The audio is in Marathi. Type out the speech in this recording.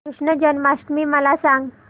कृष्ण जन्माष्टमी मला सांग